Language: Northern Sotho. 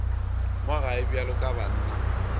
mo gae bjalo ka banna